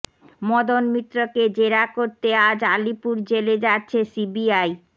মদন মিত্রকে জেরা করতে আজ আলিপুর জেলে যাচ্ছে সিবিআই